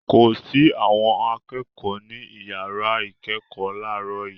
Kò sí àwọn akẹ́kọ̀ọ́ ní ìyàrá ìkẹ́kọ̀ọ́ láàárọ̀ yìí.